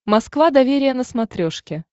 москва доверие на смотрешке